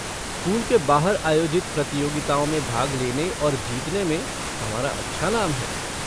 School के बाहर आयोजित प्रतियोगिताओं में भाग लेने और जीतने में हमारा अच्छा नाम है।